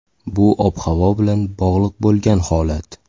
Bu ob-havo bilan bog‘liq bo‘lgan holat.